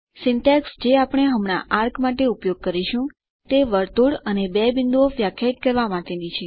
syntax જે આપણે હમણાં ચાપ માટે ઉપયોગ કરીશું તે વર્તુળ અને બે બિંદુઓ વ્યાખ્યાયિત કરવા માટે છે